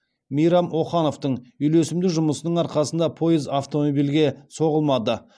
мейрам охановтың үйлесімді жұмысының арқасында пойыз автомобильге соғылмады